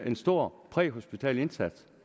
en stor præhospital indsats